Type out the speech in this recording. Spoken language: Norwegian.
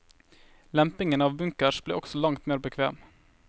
Lempingen av bunkers ble også langt mer bekvem.